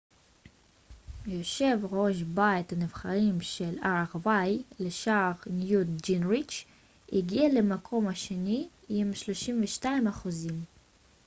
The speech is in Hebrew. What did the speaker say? יושב ראש בית הנבחרים של ארה ב לשעבר ניוט גינגריץ' הגיע למקום השני עם 32 אחוזים